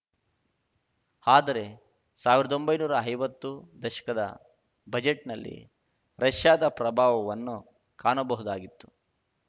ಆದರೆ ಸಾವಿರ್ದೊಂಬೈ ನೂರಾ ಐವತ್ತು ದಶಕದ ಬಜೆಟ್‌ನಲ್ಲಿ ರಷ್ಯಾದ ಪ್ರಭಾವವನ್ನು ಕಾಣಬಹುದಾಗಿತ್ತು